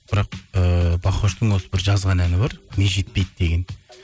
бірақ ііі бахоштың осы бір жазған әні бар ми жетпейді деген